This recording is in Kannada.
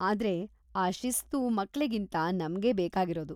ಆದ್ರೆ ಆ ಶಿಸ್ತು ಮಕ್ಳಿಗಿಂತ ನಮ್ಗೇ ಬೇಕಾಗಿರೋದು.